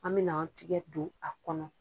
An bɛ n'an tigɛ don a kɔnɔ.